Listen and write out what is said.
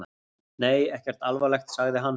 Nei, ekkert alvarlegt, sagði hann.